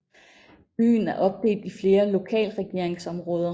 Byen er opdelt i flere lokalregeringsområder